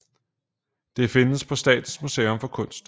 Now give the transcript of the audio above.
Det findes på Statens Museum for Kunst